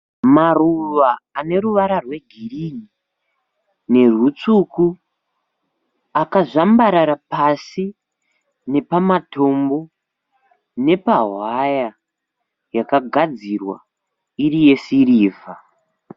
Maruva ane ruvara rwegirini nerutsvuku akazvambarara pasina nepamatombo nepawaya yakagadzirwa newaya yesirivha